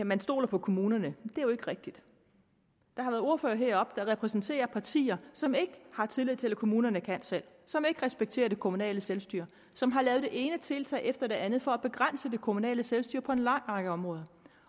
man stoler på kommunerne det er jo ikke rigtigt der har været ordførere heroppe der repræsenterer partier som ikke har tillid til at kommunerne kan selv som ikke respekterer det kommunale selvstyre som har lavet det ene tiltag efter det andet for at begrænse det kommunale selvstyre på en lang række områder